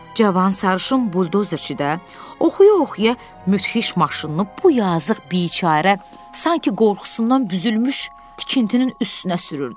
Cavan sarışın buldozerçi də oxuya-oxuya müthiş maşınını bu yazıq biçarə sanki qorxusundan büzülmüş tikintinin üstünə sürürdü.